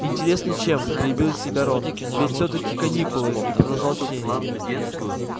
интересно чем перебил себя рон ведь всё-таки каникулы и продолжал чтение